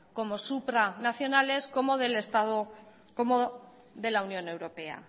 como supranacionales como de la unión europea